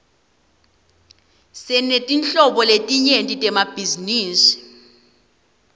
sinetinhlobo letinyenti temabhizinisi